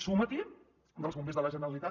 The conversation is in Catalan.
suma·t’hi dels bombers de la ge·neralitat